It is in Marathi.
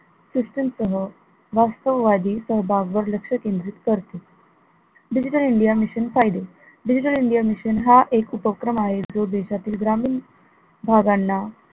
system सह वास्तववादी सहभाग वर लक्ष केंद्रित करते, digital india mission फायदे, digital india mission हा एक उपक्रम आहे जो देशातील ग्रामीण भागांना